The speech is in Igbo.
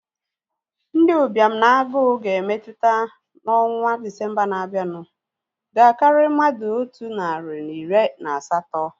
Ndị ụbịam na agụụ ga-emetụta n'ọnwa Disembaa na-abianu ga-akari mmadụ otu nari na iri na asatọ